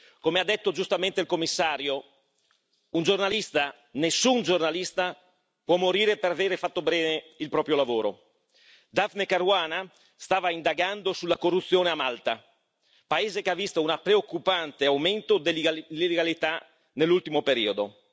Come ha detto giustamente il Commissario nessun giornalista può morire per avere fatto bene il proprio lavoro. Daphne Caruana stava indagando sulla corruzione a Malta, paese che ha visto un preoccupante aumento dell'illegalità nell'ultimo periodo.